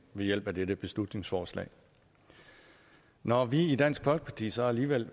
ved hjælp af dette beslutningsforslag når vi i dansk folkeparti så alligevel